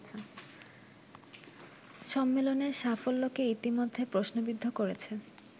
সম্মেলনের সাফল্যকে ইতোমধ্যে প্রশ্নবিদ্ধ করেছে